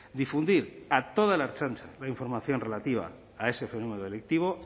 difundir a toda la ertzaintza la información relativa a ese fenómeno delictivo